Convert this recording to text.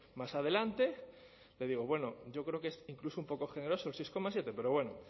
más adelante le digo bueno yo creo que es incluso un poco generoso el seis coma siete pero bueno